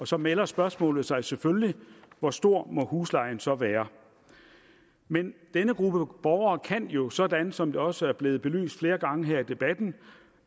så melder spørgsmålet sig selvfølgelig hvor stor må huslejen så være men denne gruppe borgere kan jo sådan som det også er blevet belyst flere gange her i debatten